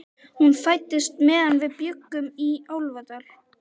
Hún fæddist meðan við bjuggum í Álfadal.